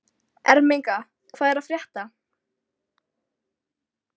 Ermenga, hvað er að frétta?